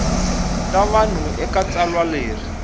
ta vanhu eka tsalwa leri